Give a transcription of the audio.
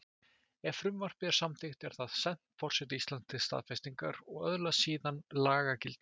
Ef frumvarpið er samþykkt er það sent forseta Íslands til staðfestingar og öðlast síðan lagagildi.